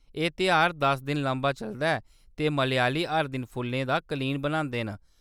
एह्‌‌ तेहार दस दिन लम्मा चलदा ऐ ते मलयाली हर दिन फुल्लें दा कलीन बनांदे न।